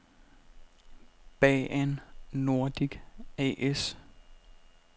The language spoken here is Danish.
Baan Nordic A/S